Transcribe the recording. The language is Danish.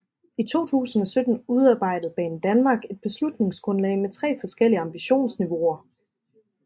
I 2017 udarbejdede Banedanmark et beslutningsgrundlag med tre forskellige ambitionsniveauer